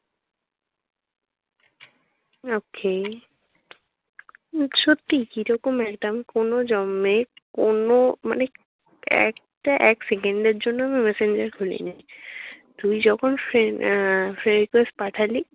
okay সত্যি কিরকম একটা আমি কোনো জন্মের কোনো মানে একটা এক সেকেন্ডের জন্যও আমি messenger খুলিনি। তুই যখন fre আহ friend request পাঠালি